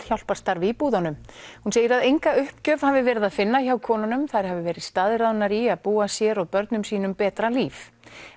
hjálparstarfi í búðunum hún segir að enga uppgjöf hafi verið að finna hjá konunum þær hafi verið staðráðnar í að búa sér og börnum sínum betra líf